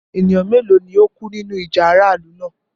Ẹ̀nìyàn méloo ni o kú nínu ìjà aráàlù náà?